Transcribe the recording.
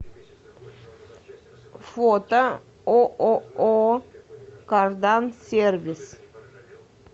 фото ооо кардан сервис